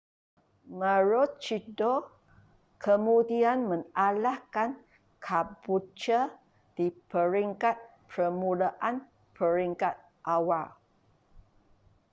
maroochydore kemudian mengalahkan caboolture di peringkat permulaan peringkat awal